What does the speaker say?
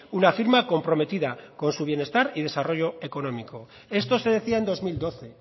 una firma comprometida con su bienestar y su desarrollo económico esto se decía en dos mil doce